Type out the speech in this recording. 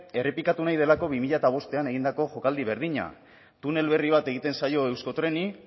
errepikatu nahi delako bi mila bostean egindako jokaldi berdina tunel berri bat egiten zaio euskotreni